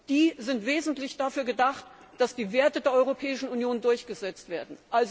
Die sind im Wesentlichen dafür gedacht, dass die Werte der Europäischen Union durchgesetzt werden.